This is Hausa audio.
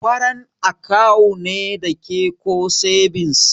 Kwarant akawu ne dake ko sebins?